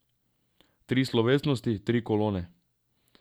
Tri slovesnosti, tri kolone.